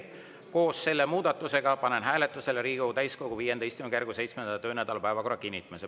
Koos selle muudatusega panen hääletusele Riigikogu täiskogu V istungjärgu 7. töönädala päevakorra kinnitamise.